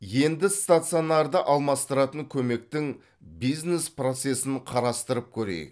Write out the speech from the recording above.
енді стационарды алмастыратын көмектің бизнес процесін қарастырып көрейік